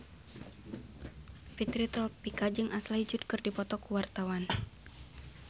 Fitri Tropika jeung Ashley Judd keur dipoto ku wartawan